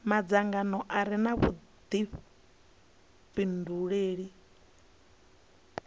madzangano a re na vhudifhinduleli